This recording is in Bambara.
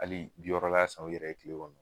Hali yɔrɔ la san u yɛrɛ ye tile kɔnɔ